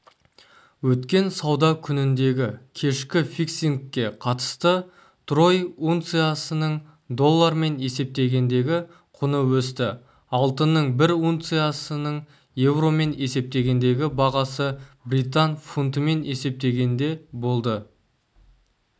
өткен сауда күніндегікешкі фиксингке қатысты трой унциясының доллармен есептегендегі құны өсті алтынның бір унциясының еуромен есептегендегі бағасы британ фунтымен есептегенде болды